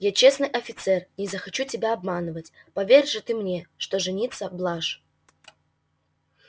я честный офицер не захочу тебя обманывать поверь же ты мне что жениться блажь